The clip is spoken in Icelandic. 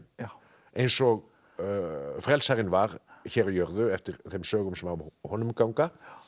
eins og frelsarinn var hér á jörðu eftir þeim sögum sem af honum ganga